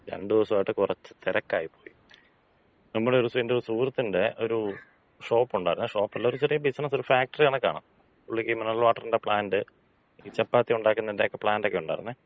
രണ്ട് ദെവസായിട്ട് കൊറച്ച് തെരക്കായി പോയി. നമ്മുടെ ഒര് എന്‍റെ ഒര് സുഹൃത്തിന്‍റെ ഒരു ഷോപ്പ് ഒണ്ടായിരുന്ന്. ഷോപ്പല്ല ഒര് ചെറിയ ബിസിനസ്, ഒരു ഫാക്ടറി കണക്കാണ്. പുള്ളിക്കീ മിനറൽ വാട്ടറിന്‍റ പ്ലാന്‍റ്, ഈ ചപ്പാത്തി ഒണ്ടാക്കുന്നേന്‍റെക്കെ പ്ലാന്‍റക്ക ഒണ്ടാരിന്നെ.